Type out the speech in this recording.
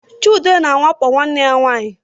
Chude na-awakpo nwanne ya nwanyị